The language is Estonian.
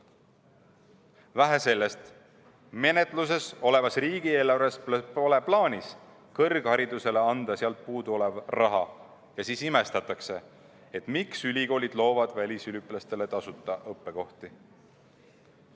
Vähe sellest, menetluses olevas riigieelarves pole plaanis anda kõrgharidusele puuduolevat raha ja siis imestatakse, miks ülikoolid loovad välisüliõpilastele tasuta õppekohti.